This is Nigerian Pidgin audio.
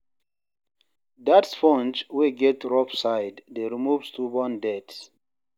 Dat sponge wey get rough side dey remove stubborn dirt.